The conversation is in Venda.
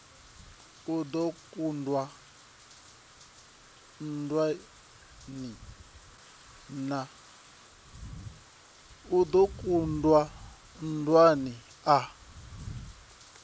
a do kundwa nndwani a